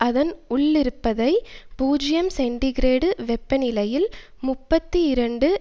அதன் உள்ளிருப்பதை பூஜ்ஜியம் சென்டிகிரேடு வெப்பநிலையில் முப்பத்தி இரண்டு